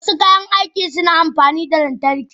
Wasu kayan aiki suna amfani da lantarki.